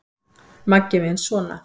Maggi minn sona!